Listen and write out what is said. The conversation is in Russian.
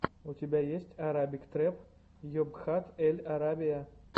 у тебя есть арабик трэп йобхат эль арабия